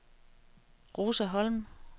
Rosa Holm